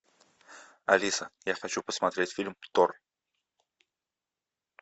алиса я хочу посмотреть фильм тор